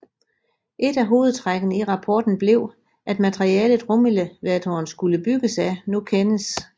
Et af hovedtrækkene i rapporten blev at materialet rumelevatoren skulle bygges af nu kendes